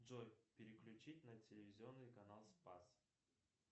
джой переключить на телевизионный канал спас